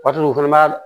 Waati dɔw fɛnɛ ma